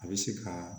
A bɛ se ka